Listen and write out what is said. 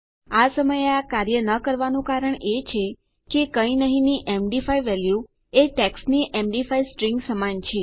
આ સમયે આ કાર્ય ન કરવાનું કારણ એ છે કે કઈ નહી ની એમડી5 વેલ્યુ એ ટેક્સ્ટની એમડી5 સ્ટ્રીંગ સમાન છે